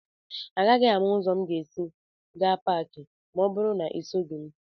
Agaghị m ámá ụzọ m si aga Pááki ma ọ bụrụ na esoghị m gị